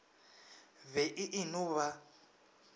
be e e no ba